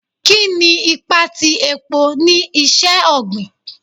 Kini ipa ti epo ni iṣẹ-ogbin